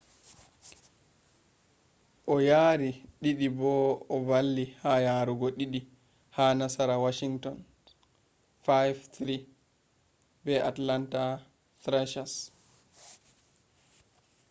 o yari 2 bo o valli ha yarugo 2 ha nasara washington’s 5-3 be atlanta thrashers